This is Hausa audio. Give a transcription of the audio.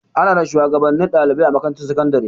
Ana da shuwagabannin ɗalibai a makarantar sakandare.